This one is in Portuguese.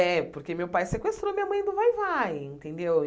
É, porque meu pai sequestrou minha mãe do vai-vai, entendeu?